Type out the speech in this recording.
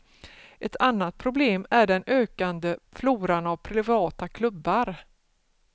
Ett annat problem är den ökande floran av privata klubbar.